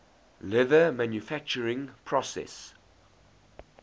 leather manufacturing process